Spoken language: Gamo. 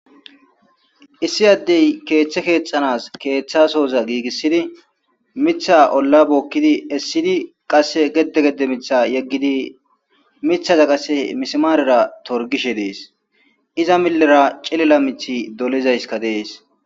Issi addey keeththe keetxanas keeththasooza giigissidi mitha olla bookkidi essidi qasse gede gede mitha yeggidi mithaza qasse mismaarera torgishe dees iza millera cilela mithi dolizayska dees.